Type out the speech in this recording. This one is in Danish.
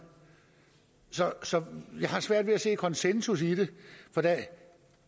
så jeg har svært ved at se et konsensus i det